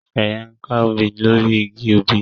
Sheye nká òbí lori ìgi òbí